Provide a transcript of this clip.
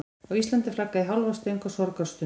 Á Íslandi er flaggað í hálfa stöng á sorgarstundum.